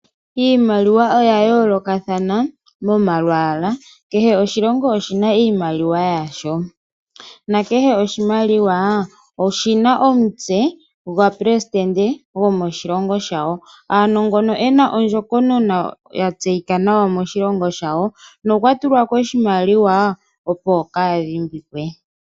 Iimaliwa oya yoolokathana momalwaalwa kehe oshilongo oshina iimaliwa yasho. Nakehe oshimaliwa oshina omutse gomuleli moshilongo shawo ano ngono ena ondjokonona ya tseyika nawa moshilongo shawo nokwa tulwa koshimaliwa opo ka dhimbiwe.